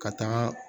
Ka taaga